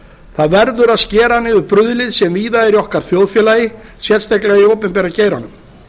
það verður að skera niður bruðlið sem víða er í þjóðfélagi okkar sérstaklega í opinbera geiranum